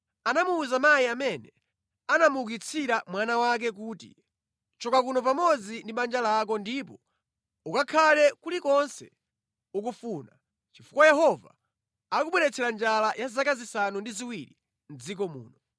Ndipo Elisa anawuza mayi amene anamuukitsira mwana wake kuti, “Choka kuno pamodzi ndi banja lako ndipo ukakhale kulikonse ukufuna, chifukwa Yehova akubweretsa njala ya zaka zisanu ndi ziwiri mʼdziko muno.”